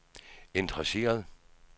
interesseret